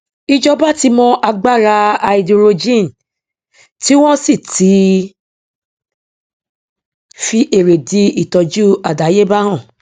ìjọba ti mọ agbára háídírójìn tí wọn sì ti fi èrèdí ìtọjú àdáyébá hàn